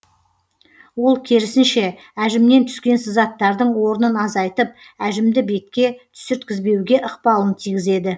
ол керісінше әжімнен түскен сызаттардың орнын азайтып әжімді бетке түсірткізбеуге ықпалын тигізеді